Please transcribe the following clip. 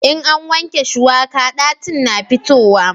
in an wanke shuwaka ɗacin na fitowa